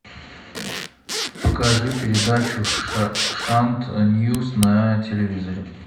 покажи передачу шант ньюс на телевизоре